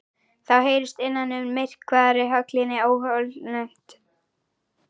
Þá heyrist innan úr myrkvaðri höllinni óhugnanlegt hljóð.